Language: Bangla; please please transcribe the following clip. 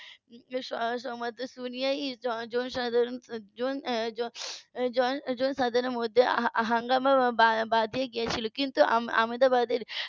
সংবাদ শুনিয়াই জনসাধারণ . জনসাধারন এর মধ্যে হাঙ্গামা বেঁধে গেছিলো কিন্তু আমেদাবাদের